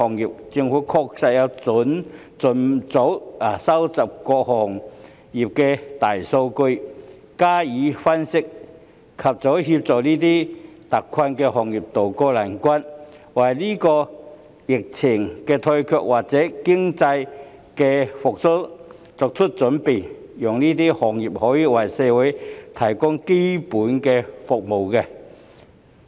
依我之見，政府確須盡早收集各個行業的大數據，加以分析，以盡早協助這些特困行業渡過難關，並為本地疫情退卻及經濟復蘇早作準備，讓這些行業繼續為社會提供基本所需的服務。